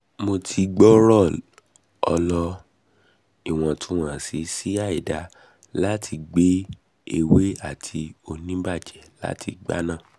mo ti gbooro ọlọ (iwọntunwọnsi si àìdá) lati igba ewe ati onibaje lati igba naa